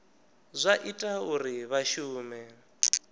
zwa ita uri vha shume